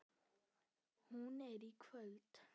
Hún er í kvöld.